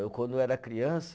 Eu quando era criança,